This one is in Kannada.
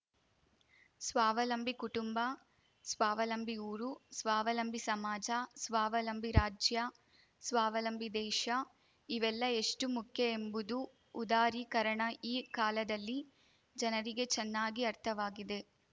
ಸ್ವಾವಲಂಬಿ ಕುಟುಂಬ ಸ್ವಾವಲಂಬಿ ಊರು ಸ್ವಾವಲಂಬಿ ಸಮಾಜ ಸ್ವಾವಲಂಬಿ ರಾಜ್ಯ ಸ್ವಾವಲಂಬಿ ದೇಶ ಇವೆಲ್ಲ ಎಷ್ಟುಮುಖ್ಯ ಎಂಬುದು ಉದಾರೀಕರಣ ಈ ಕಾಲದಲ್ಲಿ ಜನರಿಗೆ ಚೆನ್ನಾಗಿ ಅರ್ಥವಾಗಿದೆ